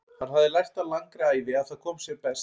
Hann hafði lært á langri ævi að það kom sér best.